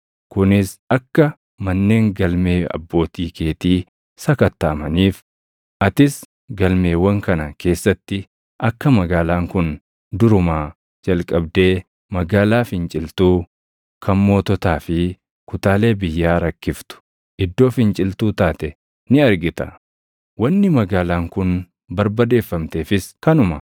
kunis akka manneen galmee abbootii keetii sakattaʼamaniif. Atis galmeewwan kana keessatti akka magaalaan kun durumaa jalqabdee magaalaa finciltuu, kan moototaa fi kutaalee biyyaa rakkiftu, iddoo finciltuu taate ni argita. Wanni magaalaan kun barbadeeffamteefis kanuma.